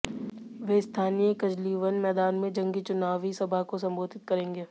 वे स्थानीय कजलीवन मैदान में जंगी चुनावी सभा को संबोधित करेंगे